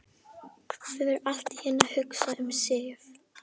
Fer allt í einu að hugsa um Sif.